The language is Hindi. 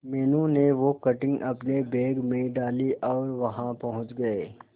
मीनू ने वो कटिंग अपने बैग में डाली और वहां पहुंच गए